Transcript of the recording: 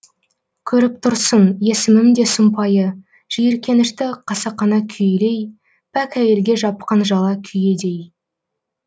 көріп тұрсың есімім де сұмпайы жиіркенішті қасақана күйелей пәк әйелге жапқан жала күйедей